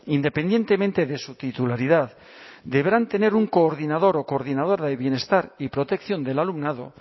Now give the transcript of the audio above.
independientemente de su titularidad deberán tener un coordinador o coordinadora de bienestar y protección del alumnado